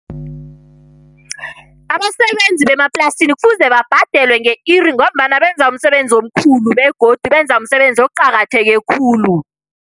Abasebenzi bemaplasini kufuze babhadelwe nge-iri ngombana benza umsebenzi omkhulu, begodu benza umsebenzi oqakatheke khulu.